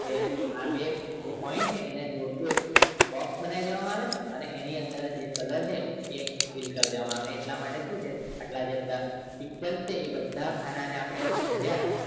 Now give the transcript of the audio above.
આ રહ્યા બે જે point એને જોડતું box બનાવી દેવાનું તમારે અને એની અંદર જે color છે એ fill કર દેવામાં આવે અને એટલા માટે શું આ જે pixel છે આટલા જે એ બધા ખાના ને આપણે રહ્યા